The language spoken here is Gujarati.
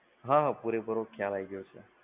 હા હા પૂરેપૂરો ખ્યાલ આઈ ગયો છે.